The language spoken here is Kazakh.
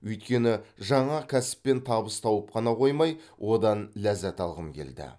өйткені жаңа кәсіппен табыс тауып қана қоймай одан ләззат алғым келді